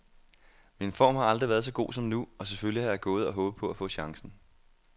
Min form har aldrig været så god som nu, og selvfølgelig har jeg gået og håbet på at få chancen.